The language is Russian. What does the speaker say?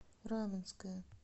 раменское